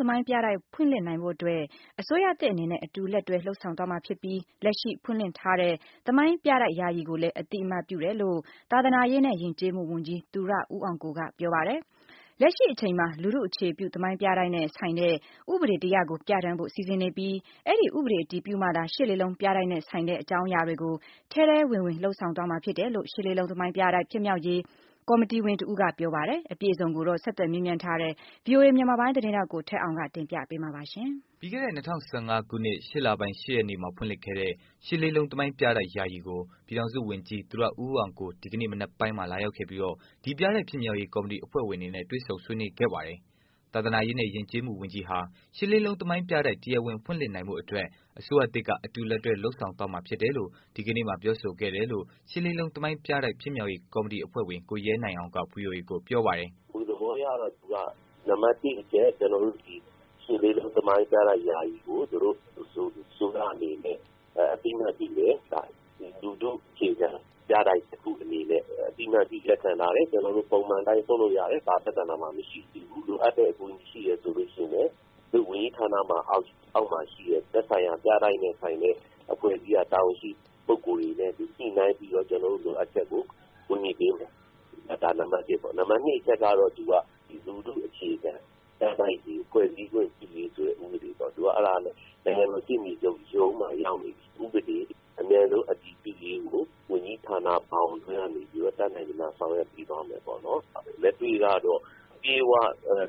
သမိုင်းပြတိုက် ဖွင့်လှစ်နိုင်ဖို့အတွက် အစိုးရသစ်အနေနဲ့ အတူလက်တွဲ လုပ်ဆောင်သွားမှာဖြစ်ပြီးလက်ရှိဖွင့်လှစ်ထားတဲ့ သမိုင်းပြတိုက် ယာယီကိုလည်းအသိအမှတ်ပြုတယ်လို့ သာသနာရေးနဲ့ ယဉ်ကျေးမှုဝန်ကြီးသူရဦးအောင်ကိုကပြောပါတယ်။ လက်ရှိအချိန်မှာလူထုအခြေခံ သမိုင်းပြတိုက်တွေနဲ့ ဆိုင်တဲ့ ဥပဒေတစ်ရပ်ကို ပြဌာန်းဖို့ စီစဉ်နေပြီးအဲဒီ့ ဥပဒေအတည်ပြုမှသာ ၈၈၈၈ ပြတိုက်နဲ့ဆိုင်တဲ့ အကြောင်းအရာတွေကို ထဲထဲဝင်ဝင် လုပ်ဆောင်သွားမှာဖြစ်တယ်လို့ ၈၈၈၈ သမိုင်းပြတိုက် ဖြစ်မြှောက်ရေး ကော်မတီဝင်တစ်ဦးက ပြောပါတယ်။ အပြည့်အစုံကိုတော့ ဆက်သွယ်မေးမြန်းထားတဲ့ ဗွီအိုအေမြန်မာပိုင်း သတင်းထောက်ကိုထက်အောင်ကတင်ပြပေးမှာပါ။ ပြီးခဲ့တဲ့ ၂၀၁၅ ခုနှစ် ၈လပိုင်း ၈ ရက်နေ့မှာဖွင့်လှစ်ခဲ့တဲ့ ၈၈၈၈ သမိုင်းပြတိုက် ယာယီကို ပြည်ထောင်စု ဝန်ကြီးသူရဦးအောင်ကိုဒီကနေ့ မနက်ပိုင်းကလာရောက်ခဲ့ပြီးဒီပြတိုက် ဖြစ်မြှောက်ရေး ကော်မတီအဖွဲ့ဝင်တွေနဲ့ တွေ့ဆုံဆွေးနွေးခဲ့ပါတယ်။ သာသနာရေးနဲ့ ယဉ်ကျေးမှုဝန်ကြီးဟာ၈၈၈၈ သမိုင်း ပြတိုက် တရားဝင် ဖွင့်လှစ်နိုင်ဖို့အတွက် အစိုးရသစ်ကအတူလက်တွဲ လုပ်ဆောင်သွားမှာဖြစ်တယ်လို့ ဒီကနေ့မှာပြောဆိုခဲ့တယ်လို့ ၈၈၈၈ သမိုင်းပြတိုက် ဖြစ်မြောက်ရေးကော်မတီအဖွဲ့ဝင် ကိုရဲနိုင်အောင်ကဗွီအိုအေကိုပြောပါတယ်။ “ သဘောအရတော့ နံပတ် ၁ အချက်ကတော့ ကျနော်တို့ဒီ ၈၈၈၈ သမိုင်းပြတိုက်ယာယီကို သူတို့အစိုးရအနေနဲ့ အသိအမှတ်ပြုမယ့်အပိုင်း။ လူထုအခြေခံ ပြတိုက်တခုအနေနဲ့ သိမှတ်ပြီးလက်ခံထားတယ်။ ကျနော်တို့ ပုံမှန်အတိုင်းလုပ်လို့ရတယ် ဘာပြဿနာမှာမရှိသေးဘူး။ လိုအပ်တဲ့အကူအညီရှိတယ်ဆိုရင် သူတို့ဝန်ကြီးဌာန အောက်မှာရှိတဲ့ သက်ဆိုင်ရာပြတိုက်နဲ့ဆိုင်တဲ့ အဖွဲ့အစည်းကတာဝန်ရှိ ပုဂ္ဂိုလ်တွေနဲ့ ညှိနှိုင်းပြီးတော့ ကျနော်တို့လိုအပ်ချက်ကို ကူညီပေးမယ်။ နံပတ် ၂ အချက်ကတော့ သူက လူထုအခြေခံ ပြတိုက်တွေဖွဲ့စည်းခွင့်ပြုရေးဆိုတဲ့ ဥပဒေပေါ့ အဲဒါနဲ့ နိုင်ငံတော်ရှေ့နေချုပ်ရုံးမှာရောက်နေတဲ့ ဥပဒေအမြန်ဆုံးအတည်ပြုရေးကို ဝန်ကြီးဌာန ဘောင်အတွင်းကနေပြီးတော့ တက်နိုင်သမျှဆောင်ရွက်သွားပေးမယ်။ နံပတ်၁ ကတော့ အပြည့်အ၀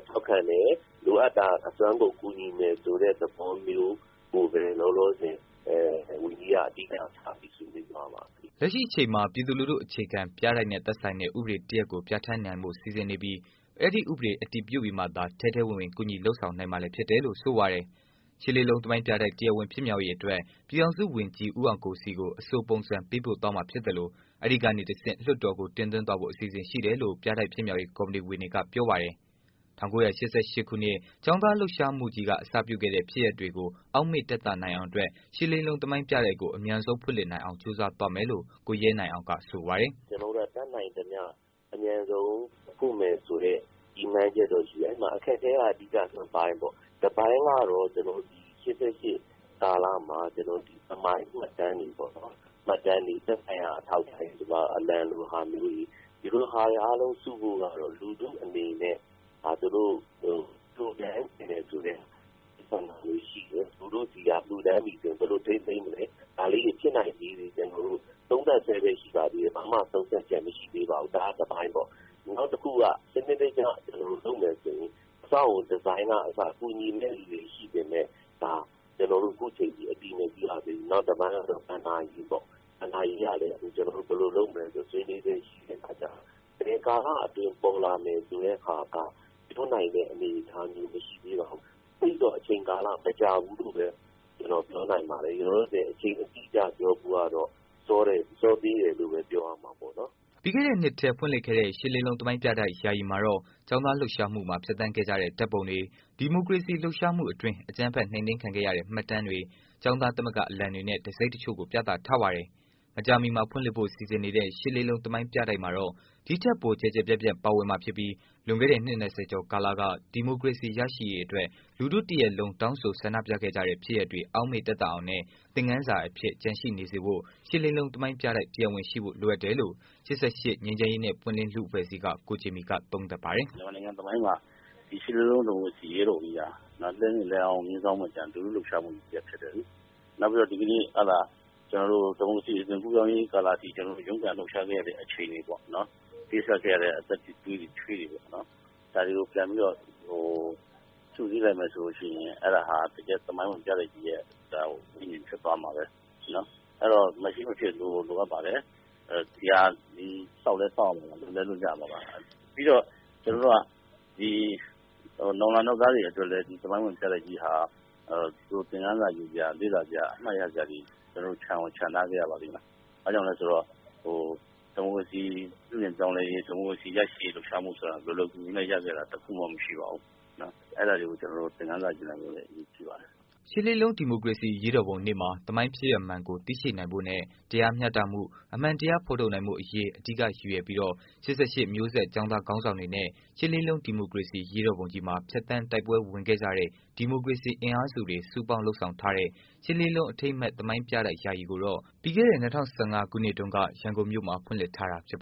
ထောက်ခံတယ်၊ လိုအပ်တာ အစွမ်းကုန်ကူညီမယ်ဆိုတဲ့သဘောမျိုး ကိုပဲ ဝန်ကြီးကအဓိကထားဆွေးနွေးသွားပါတယ်။” လက်ရှိအချိန်မှာ ပြည်သူလူထုအခြေခံ ပြတိုက်နဲ့ဆိုင်တဲ့ ဥပဒေတစ်ရပ်ကို ပြဌာန်းနိုင်ဖို့ စီစဉ်နေပြီးအဲဒီ့ ဥပဒေအတည်ပြုပြီးမှသာ ထဲထဲဝင်ဝင် ကူညီလုပ်ဆောင်နိုင်မှာလည်း ဖြစ်တယ်လို့ ဆိုပါတယ်။ ၈၈၈၈ သမိုင်း ပြတိုက် တရားဝင် ဖြစ်မြှောက်ရေးအတွက် ပြည်ထောင်စု ဝန်ကြီး ဦးအောင်ကိုထံ အဆိုပုံစံ ပေးပို့သွားမှာဖြစ်သလို အဲဒီကနေ တစ်ဆင့် လွတ်တော်ကို တင်သွင်းဖို့အစီအစဉ်ရှိတယ်လို့လည်း ပြတိုက် ဖြစ်မြှောက်ရေး ကော်မတီဝင်တွေက ပြောပါတယ်။ ၁၉၈၈ ခုနှစ် ကျောင်းသားလုပ်ရှားမှုကြီးအစပြုခဲ့တဲ့ ဖြစ်ရပ်တွေ ကိုအောက်မေ့တသနိုင်အောင်အတွက် ၈၈၈၈ သမိုင်းပြတိုက်ကို အမြန်ဆုံးဖွင့်လှစ်နိုင်အောင် ကြိုးစားသွားမယ်လို့ ကိုရဲနိုင်အောင်ကဆိုပါတယ်။ “ကျနော်တို့က တက်နိုင်သမျှ အမြန်ဆုံးဖွင့်မယ်ဆိုတဲ့ ရည်မှန်းချက်တော့ရှိတယ်။ အခက်အခဲကတော့ ၂ပိုင်း ပေါ့ ။ တပိုင်းကတော့ ကျနော်တို့ ၈၈ ကာလမှာ သမိုင်းမှတ်တမ်းတွေပေါ့ ၊ သက်ဆိုင်ရာအထောက်အထားတွေ အလံလိုဟာမျိုးတွေ ။ ဒီဟာတွေအားလုံးစုဖို့ကတော့ လူထုအနေနဲ့ လှူဒန်းချင်တဲ့ဆန္ဒမျိုးတွေရှိတယ်။ လူထုဆီက လှူဒန်းတာရရင် ဘယ်လိုထိန်းသိမ်းမလဲ ဒါလေးတွေ ဖြစ်နိုင်ခြေလေးတွေကို သုံးသပ်စဲပဲ ရှိပါတယ် ဘာမှ ဆုံးဖြတ်တာမရှိသေးပါဘူး။ ဒါကတပိုင်းပေါ့။ နောက်တခုက စနစ်တကျလုပ်မယ်ဆိုရင် အဆောက်အအုံဒီဇိုင်းကအစ ကူညီမယ့်လူတွေရှိပေမယ့် ကျနော်တို့ အခုအချိန်အထိ အတည်မပြုရသေးဘူး။ နောက်တပိုင်းကတော့ ဘဏ္ဍာရေးပေ့ါ။ အဲလည်း ကျနော်တို့ ဆွေးနွေးစဲ ရှိတဲ့အခါကျတော့ ဘယ်ကာလ အတွင်းပေါ်လာနိုင်မလဲဆိုတာက ပြောနိုင်တဲ့အနေအထားမျိုးမရှိသေးပါဘူး။ သိပ်တော့ အချိန်ကာလမကြာဘူးလို့ပဲ ကျနော်ပြောနိုင်ပါတယ်။ လောလောဆယ်အချိန်အတိအကျပြောဖို့ကတော့ စောသေးတယ်လို့ပဲ ပြောရမှာပေါ့နော်။” ပြီးခဲ့တဲ့ နှစ်ထဲဖွင့်လှစ်ခဲ့တဲ့ ၈၈၈၈ သမိုင်းပြတိုက် ယာယီမှာတော့ ကျောင်းသားလုပ်ရှားမှုမှာ ဖြတ်သန်းခဲ့ကြတဲ့ ဓာတ်ပုံတွေ၊ ဒီမိုကရေစီ လှုပ်ရှားမှု အတွင်း အကြမ်းဖက်နှိပ်နင်းခံခဲ့ရတဲ့ မှတ်တမ်းတွေ၊ ကျောင်းသားသမဂ္ဂအလံတွေနဲ့ တံဆိပ်တစ်ချို့ကို ပြသထားပါတယ်။ မကြာမှီမှာဖွင့်လှစ်ဖို့ စီစဉ်နေတဲ့ ၈၈၈၈ သမိုင်းပြတိုက်မှာတော့ ဒီ့ထက်ပိုကျယ်ကျယ်ပြန့်ပြန့် ပါဝင်မှာဖြစ်ပြီးလွန်ခဲ့တဲ့ နှစ် ၂၀ ကျော်ကာလက ဒီမိုကရေစီ ရရှိရေးအတွက် လူထုတစ်ရပ်လုံး တောင်းဆို ဆန္ဒပြခဲ့ကြတဲ့ ဖြစ်ရပ်တွေ အောက်မေ့တသအောင်နဲ့ သင်ခန်းစာအဖြစ် ကျန်ရှိနေစေဖို့ ၈၈၈၈ သမိုင်းပြတိုက် တရားဝင် ရှိဖို့ လိုအပ်တယ်လို့ ၈၈ ငြိမ်းချမ်းရေးနဲ့ ပွင့်လင်း လူ့အဖွဲ့အစည်းက ကိုဂျင်မီက သုံးသပ်ပါတယ်။ “မြန်မာနိုင်ငံသမိုင်းမှာ ရှစ်လေးလုံး ဒီမိုကရေစီအရေးတော်ပုံကြီးဟာ လူထူလှုပ်ရှားမူ ကြီးတရပ်ဖြစ်တယ်လေ။ နောက်ပြီးတော့ ဒီကနေ့ ဒီမိုကရေစီအသွင်ကူးပြောင်းရေးကာလအထိ ကျနော်တို့ ရုန်းကန်လှုပ်ရှားခဲ့ရတဲ့အခြေအနေပေါ့နော် ၊ ပေးဆပ်ခဲ့ရတဲ့ သွေးတွေချွေးတွေပေါ့နော် ဒါတွေကိုပြန်ပြီးတော့ စုစည်းလိုက်မယ်ဆိုရင် အဲဒါဟာ တကယ့် သမိုင်းဝင်ပြတိုက်ကြီးရဲ့ ဝိညာဉ်ဖြစ်သွားမှာပဲ။ အဲဒီတော့ မရှိမဖြစ် လိုကိုလို အပ်ပါတယ်။ ဆောက်လည်းဆောက်ရမှာပါ လုပ်လည်းလုပ်ရမှာပါ။ ပြီးတော့ ကျနော်တို့က နောင်လာနောက်သားတွေ အတွက်လည်း သမိုင်းဝင်ပြတိုက်ကြီးဟာ သင်ခန်းစာယူစရာ၊ လေ့လာစရာတွေ၊ အမှတ်ရစရာတွေ ကျနော်တို့ ချန်ကိုချန်ထားခဲ့ရ ပါလိမ့်မယ်။ ဆိုတော့ ဒီမိုကရေစီပြုပြင်ပြောင်းလဲရေး ၊ ဒီမိုကရေစီရရှိရေးလှုပ်ရှားမှုဆိုတာ လွယ်လွယ်ကူကူနဲ့ ရခဲ့တာ တခုမှ မရှိပါဘူး။ အဲဒါတွေကို ကျနော်တို့က သင်ခန်းစာယူနိုင်ဖို့အတွက် အရေးကြီးပါတယ်။” ရှစ်လေးလုံး ဒီမိုကရေစီအရေးတော်ပုံနေ့မှာ သမိုင်း ဖြစ်ရပ်မှန်ကို သိရှိနိုင်ဖို့နဲ့ တရားမျှတမှု၊ အမှန်တရား ဖော်ထုတ်နိုင်ဖို့အရေး အဓိကရည်ရွယ်ပြီးတော့ ၈၈ မျိုးဆက်ကျောင်းသားခေါင်းဆောင်တွေနဲ့ ၈ လေးလုံး ဒီမိုကရေစီ အရေးတော်ပုံကြီးမှာ ဖြတ်သန်းတိုက်ပွဲဝင်ခဲ့ကြတဲ့ ဒီမိုကရေစီအင်အားစုတွေ စုပေါင်း လုပ်ဆောင် ထားတဲ့ ရှစ်လေးလုံးအထိမ်းအမှတ် သမိုင်းပြတိုက်ကို ပြီးခဲ့တဲ့ နှစ် ၂၀၁၅ ခုနှစ်တုန်းက ရန်ကုန်မြို့မှာ ဖွင့်လှစ်ထားတာဖြစ်ပါ